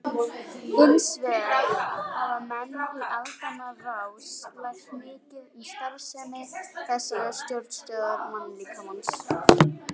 Hins vegar hafa menn í aldanna rás lært mikið um starfsemi þessarar stjórnstöðvar mannslíkamans.